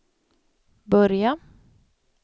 börja